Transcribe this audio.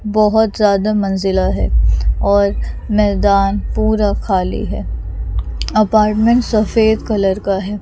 बहोत ज्यादा मंजिला हैं और मैदान पूरा खाली हैं अपार्टमेंट सफेद कलर का हैं।